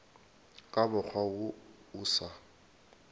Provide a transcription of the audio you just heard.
ka mokgwa wo o sa